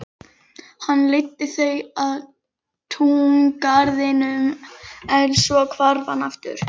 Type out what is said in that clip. Hann leiddi þau að túngarðinum en svo hvarf hann aftur.